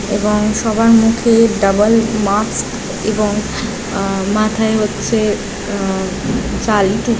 এবং সবার মুখে ডাবল মাস্ক এবং আ মাথায় হচ্ছে আ টু --